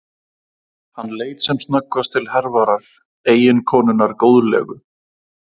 Hann leit sem snöggvast til Hervarar, eiginkonunnar góðlegu.